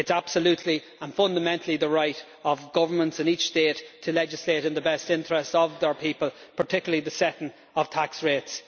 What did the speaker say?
It is absolutely and fundamentally the right of governments in each state to legislate in the best interests of their people, particularly the setting of tax rates.